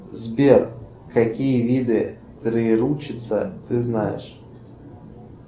сбер какие виды троеручица ты знаешь